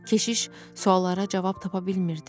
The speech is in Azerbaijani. Keşiş suallara cavab tapa bilmirdi.